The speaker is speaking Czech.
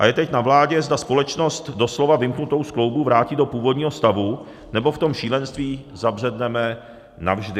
A je teď na vládě, zda společnost doslova vymknutou z kloubů vrátí do původního stavu, nebo v tom šílenství zabředneme navždy.